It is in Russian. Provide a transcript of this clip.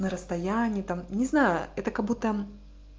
на расстояние там не знаю это как-будто